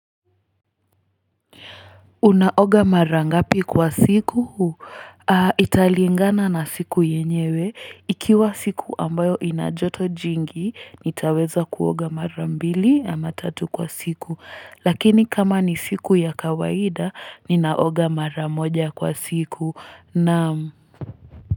Unaoga mara ngapi kwa siku huu? Italingana na siku yenyewe. Ikiwa siku ambayo ina joto jingi, nitaweza kuoga mara mbili ama tatu kwa siku. Lakini kama ni siku ya kawaida, ninaoga mara moja kwa siku. Naam.